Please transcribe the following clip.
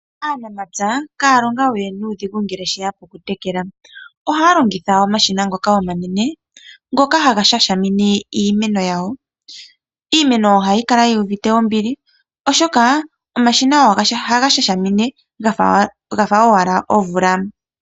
Aanamapya kaya longa we nuudhigu ngele tashiya pokutela. Ohaya longitha omashina ngoka omanene, ngoka haga shashamine iimeno yawo. Iimeno ohayi kala yuuvite ombili oshoka omashina ohaga shashamine gafa owala omvula.